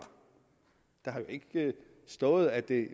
der har jo ikke stået at det